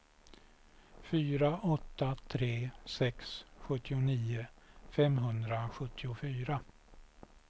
fyra åtta tre sex sjuttionio femhundrasjuttiofyra